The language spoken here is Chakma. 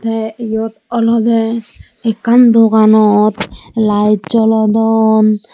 te iyot olodey ekkan doganot laed jolodon.